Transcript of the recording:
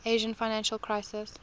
asian financial crisis